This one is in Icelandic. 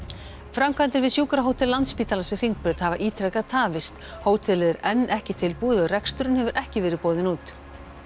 framkvæmdir við sjúkrahótel Landspítalans við Hringbraut hafa ítrekað tafist hótelið er enn ekki tilbúið og reksturinn hefur ekki verið boðinn út